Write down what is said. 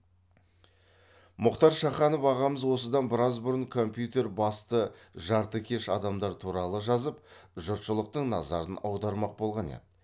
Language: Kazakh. мұхтар шаханов ағамыз осыдан біраз бұрын компьютер басты жартыкеш адамдар туралы жазып жұртшылықтың назарын аудармақ болған еді